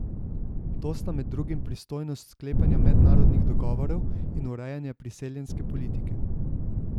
To sta med drugim pristojnost sklepanja mednarodnih dogovorov in urejanje priseljenske politike.